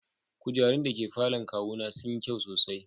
Kujerun da ke falon kawuna sun yi kyau sosai.